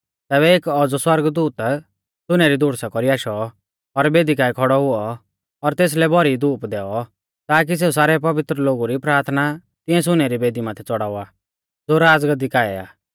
तैबै एक औज़ौ सौरगदूत सुनै री धूड़ुसा कौरी आशौ और बेदी काऐ खौड़ौ हुऔ और तेसलै भौरी धूप दैऔ ताकी सेऊ सारै पवित्र लोगु री प्राथना तिऐं सुनै री बेदी माथै च़ड़ावा ज़ो राज़गाद्दी काऐ आ